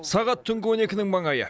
сағат түнгі он екінің маңайы